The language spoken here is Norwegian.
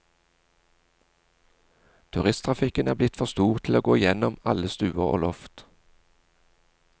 Turisttrafikken er blitt for stor til å gå innom alle stuer og loft.